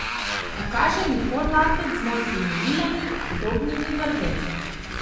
Pokaže mi podlaket z modrimi žilami, podobnimi vrvem.